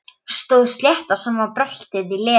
Stóð slétt á sama um bröltið í Lenu.